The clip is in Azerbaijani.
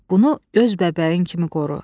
Bunu göz bəbəyin kimi qoru.